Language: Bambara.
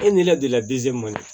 E ni ne delila